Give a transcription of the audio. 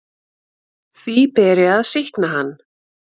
Því beri að sýkna hann.